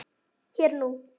Hér og nú.